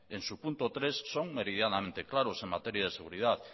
en su punto tres son meridianamente claros en materia de seguridad